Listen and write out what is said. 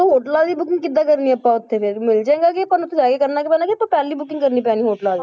ਹੋਟਲਾਂ ਦੀ booking ਕਿੱਦਾਂ ਕਰਨੀ ਆਂ ਆਪਾਂ ਉੱਥੇ ਕਿ ਮਿਲ ਜਾਏਗਾ ਕਿ ਆਪਾਂ ਨੂੰ ਉੱਥੇ ਜਾ ਕੇ ਕਰਨਾ ਪੈਣਾ ਕਿ ਪਹਿਲਾਂ booking ਕਰਨੀ ਪੈਣੀ ਹੋਟਲਾਂ ਦੀ,